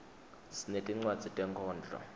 sinetincwadzi tenkhondlo